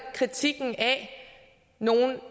kritikken af nogle